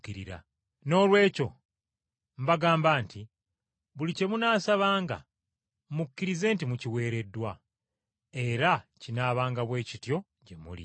Noolwekyo mbagamba nti buli kye munaasabanga, mukkirize nti mukiweereddwa, era kinaabanga bwe kityo gye muli.